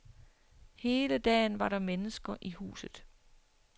Hele dagen var der mennesker i huset.